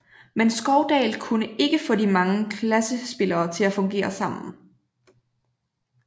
Men Skovdahl kunne ikke få de mange klassespillere til at fungere sammen